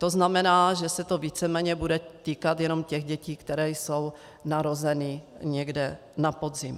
To znamená, že se to víceméně bude týkat jenom těch dětí, které jsou narozeny někdy na podzim.